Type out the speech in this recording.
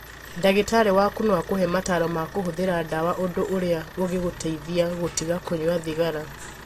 Ndagĩtarĩ waku no akũhe mataro ma kũhũthĩra dawa ũndũ ĩũrĩa ũgĩgũteithia gũtiga kũnyua thigara